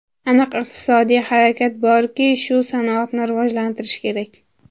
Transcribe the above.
Aniq iqtisodiy harakat borki, shu sanoatni rivojlantirish kerak”.